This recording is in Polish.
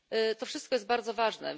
To wszystko jest bardzo ważne.